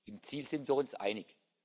Im Ziel sind wir uns einig.